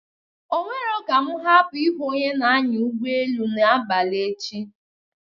Onwero ka mụ hapụ ịhụ onye n'anya ụgbọelu n'abalị echi.